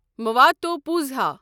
مواتوپوزہا